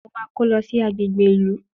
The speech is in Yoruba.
Mo máa kó lọ sí agbègbè ìlú